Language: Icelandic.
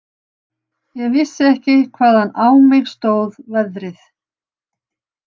Ég vissi ekki hvaðan á mig stóð veðrið.